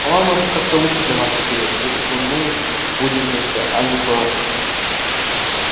по-моему это как-то лучше для нас обеих если бы мы будем вместе а не порознь